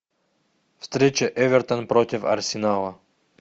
встреча эвертон против арсенала